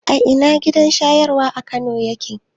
A ina gidan shayarwa na Kano yake?